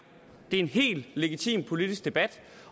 en helt legitim politisk debat